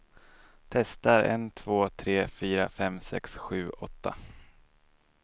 Testar en två tre fyra fem sex sju åtta.